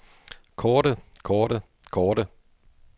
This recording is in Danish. korte korte korte